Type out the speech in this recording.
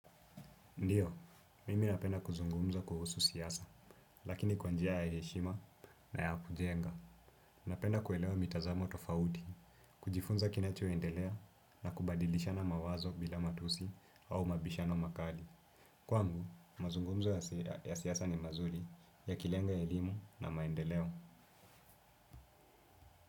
Ndiyo, mimi napenda kuzungumza kuhusu siasa, lakini kwa njia ya heshima na ya kujenga. Napenda kuelewa mitazamo tofauti, kujifunza kinachoendelea na kubadilishana mawazo bila matusi au mabishano makali. Kwangu, mazungumzo ya siasa ni mazuri yakilenga elimu na maendeleo.